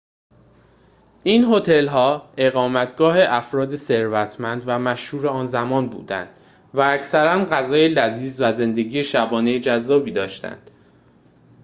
این هتل‌ها اقامتگاه افراد ثروتمند و مشهور آن زمان بودند و اکثراً غذای لذیذ و زندگی شبانه جذابی داشتند